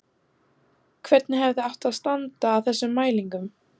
Hvernig hefði átt að standa að þessum mælingum?